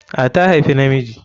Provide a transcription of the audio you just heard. A, ta haifi na miji